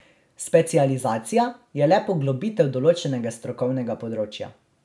Specializacija je le poglobitev določenega strokovnega področja.